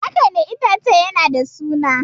Haka ne, itacen yana da suna.